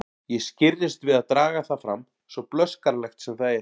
Ég skirrist við að draga það fram, svo blöskranlegt sem það er.